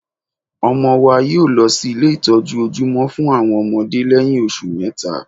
ọmọ wa yóọ̀ lọ sí ilé ìtọ́jú ojúmọ́ fún àwọn ọmọdé lẹ́yìn oṣù mẹ́ta